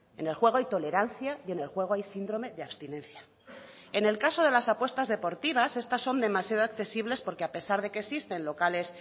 en el juego hay tolerancia y en el juego hay síndrome de abstinencia en el caso de las apuestas deportivas estas son demasiado accesibles porque a pesar de que existen locales